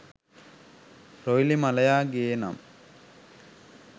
රොයිලි මලයා ගේනම්